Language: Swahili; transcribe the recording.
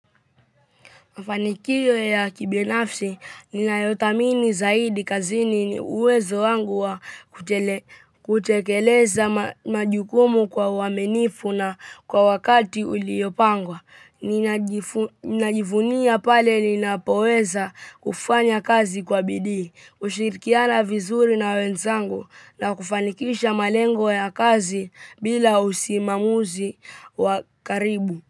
Mafanikiyo ya kibinafsi, ninayothamini zaidi kazini ni uwezo wangu wa kutekeleza majukumu kwa uwaminifu na kwa wakati uliopangwa. Ninajivunia pale ninapoweza kufanya kazi kwa bidii, kushirikiana vizuri na wenzangu na kufanikisha malengo ya kazi bila usimamizi wakaribu.